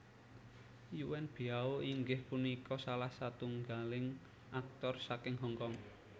Yuen Biao inggih punika salah satunggaling aktor saking Hong Kong